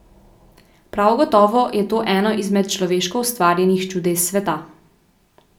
Prav gotovo je to eno izmed človeško ustvarjenih čudes sveta.